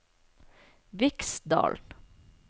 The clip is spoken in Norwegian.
Viksdalen